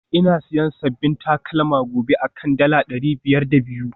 Ina siyan sabbin takalma gobe akan dala dari biyar da biyu